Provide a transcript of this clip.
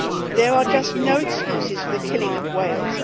there are just no excuses for the killing of whales.